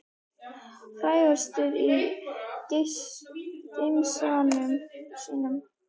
Frægastur í gemsanum þínum?